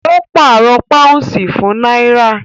Ó pàrọ̀ pàúnsì fún náírà